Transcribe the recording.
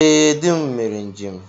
Ee, dị m mere njem.